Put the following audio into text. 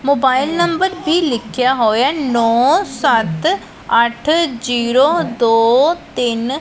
mobile number ਵੀ ਲਿਖਿਆ ਹੋਇਆ ਨੋਂ ਸਤ ਅੱਠ ਜ਼ੀਰੋ ਦੋ ਤਿੰਨ --